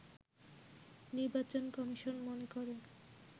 নির্বাচন কমিশন মনে করে